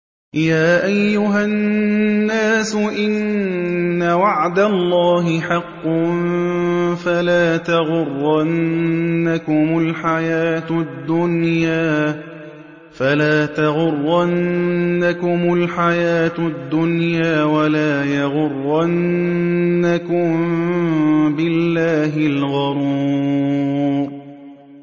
يَا أَيُّهَا النَّاسُ إِنَّ وَعْدَ اللَّهِ حَقٌّ ۖ فَلَا تَغُرَّنَّكُمُ الْحَيَاةُ الدُّنْيَا ۖ وَلَا يَغُرَّنَّكُم بِاللَّهِ الْغَرُورُ